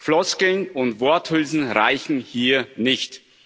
Floskeln und Worthülsen reichen hier nicht!